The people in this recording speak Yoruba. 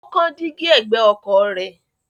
Ó kán dígí ẹ̀gbẹ́ ọkọ̀ rẹ̀.